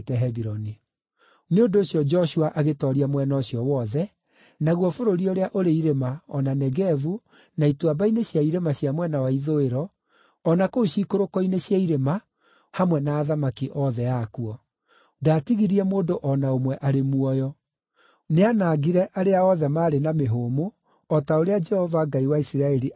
Nĩ ũndũ ũcio Joshua agĩtooria mwena ũcio wothe, naguo bũrũri ũrĩa ũrĩ irĩma, o na Negevu, na ituamba-inĩ cia irĩma cia mwena wa ithũĩro, o na kũu ciikũrũko-inĩ cia irĩma, hamwe na athamaki othe akuo. Ndaatigirie mũndũ o na ũmwe arĩ muoyo. Nĩanangire arĩa othe maarĩ na mĩhũmũ, o ta ũrĩa Jehova, Ngai wa Isiraeli aathanĩte.